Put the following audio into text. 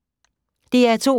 DR2